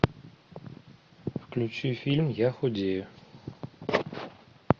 включи фильм я худею